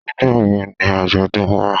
Nígbà wo ni Ajodun wá.?